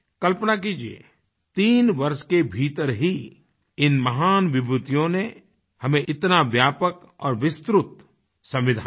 कल्पना कीजिये 3 वर्ष के भीतर ही इन महान विभूतियों ने हमें इतना व्यापक और विस्तृत संविधान दिया